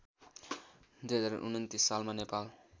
२०२९ सालमा नेपाल